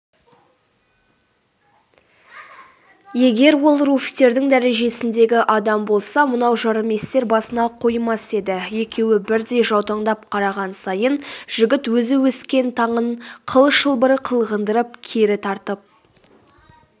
егер ол руфьтердің дәрежесіндегі адам болса мынау жарыместер басына қоймас еді екеуі бірдей жаутаңдап қараған сайын жігіт өзі өскен таның қыл шылбыры қылғындырып кері тартып